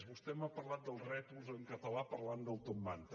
vostè m’ha parlat dels rètols en català parlant del topmanta